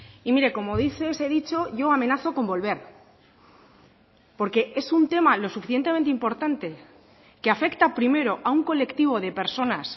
y mire como dice ese dicho yo amenazo con volver porque es un tema lo suficientemente importante que afecta primero a un colectivo de personas